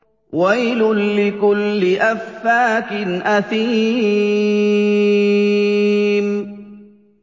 وَيْلٌ لِّكُلِّ أَفَّاكٍ أَثِيمٍ